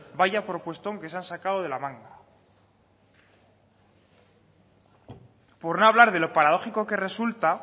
vaya propuestón que se han sacado de la manga por no hablar de lo paradójico que resulta